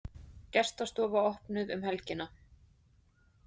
Gestastofa opnuð um helgina